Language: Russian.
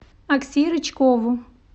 окси рычкову